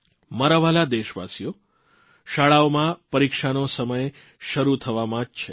મારા વ્હાલા દેશવાસીઓ શાળાઓમાં પરીક્ષાનો સમય શરૂ થવામાં જ છે